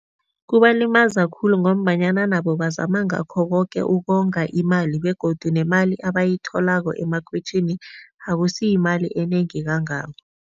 Kubalimaza khulu ngombanyana nabo bazama ngakho koke ukonga imali begodu nemali abayitholako emakhwitjhini, akusiyimali enengi kangako,